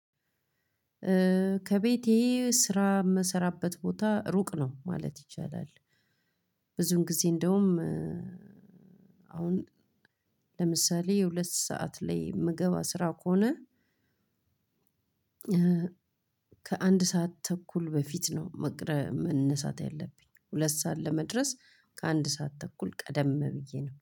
ከቤቴ ስራ የምሰራበት ቦታ ሩቅ ነው ማለት ይቻላል። ብዙን ጊዜ እንደውም አሁን ለምሳሌ የሁለት ሰዓት ላይ የምገባ ስራ ከሆነ- ከአንድ ሰዓት ተኩል በፊት ነው መነሳት ያለብኝ። ሁለት ሰዓት ለመድረስ ከአንድ ሰዓት ተኩል ቀደም ብዬ ነው።